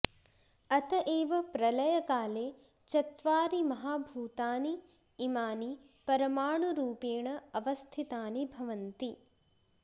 अतएव प्रलयकाले चत्वारि महाभूतानि इमानि परमाणुरुपेण अवस्थितानि भवन्ति